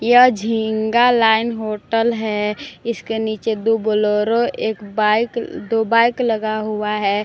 यह झींगा line hotel है इसके नीचे दो बोलोरो एक बाइक दो बाइक लगा हुआ है।